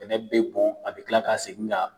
Bɛnɛ bɛ bon, a bɛ tila ka segin ka